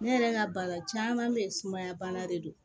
Ne yɛrɛ ka baara caman bɛ ye sumaya bana de don